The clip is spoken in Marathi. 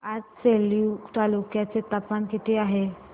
आज सेलू तालुक्या चे तापमान किती आहे